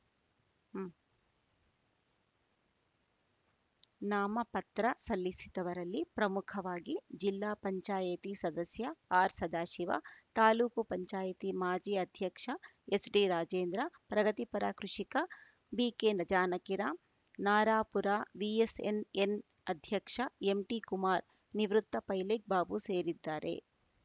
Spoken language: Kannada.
ಮ್ ನಾಮಪತ್ರ ಸಲ್ಲಿಸಿದವರಲ್ಲಿ ಪ್ರಮುಖವಾಗಿ ಜಿಲ್ಲಾ ಪಂಚಾಯಿತಿ ಸದಸ್ಯ ಆರ್‌ಸದಾಶಿವ ತಾಲೂಕು ಪಂಚಾಯಿತಿ ಮಾಜಿ ಅಧ್ಯಕ್ಷ ಎಸ್‌ಡಿ ರಾಜೇಂದ್ರ ಪ್ರಗತಿಪರ ಕೃಷಿಕ ಬಿಕೆ ನ ಜಾನಕಿರಾಂ ನರಾಪುರ ವಿಎಸ್‌ಎಸ್‌ಎನ್‌ ಅಧ್ಯಕ್ಷ ಎಂಟಿ ಕುಮಾರ್‌ ನಿವೃತ್ತ ಪೈಲಟ್‌ ಬಾಬು ಸೇರಿದ್ದಾರೆ